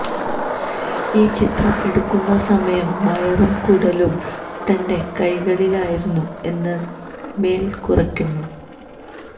ഈ ചിത്രം എടുക്കുന്നസമയം വയറും കുടലും തന്റെ കൈകളിലായിരുന്നു എന്ന് മെല് കുറിക്കുന്നു